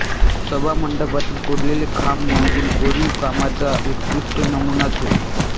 सभामंडपातील कोरलेले खांब म्हणजे कोरीवकामाचा उत्कृष्ट नमुनाच होय